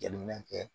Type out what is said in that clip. Jateminɛ kɛ